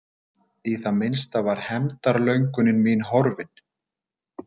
Í það minnsta var hefndarlöngun mín horfin.